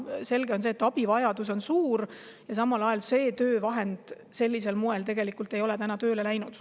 Selge on see, et abivajadus on suur, aga samal ajal pole see töövahend sellisel moel tegelikult tööle läinud.